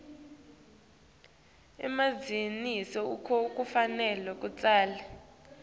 emabhizinisi onkhe kufanele atsele